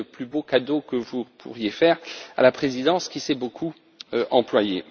Ce serait le plus beau cadeau que vous pourriez faire à la présidence, qui s'y est beaucoup employée.